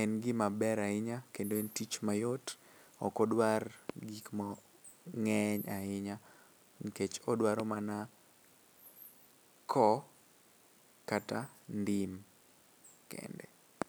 en gima ber ahinya kendo en tich mayot, ok odwar gik mang'eny ahinya. Odwaro mana koo gi ndim kende.